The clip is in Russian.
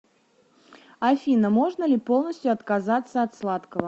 афина можно ли полностью отказаться от сладкого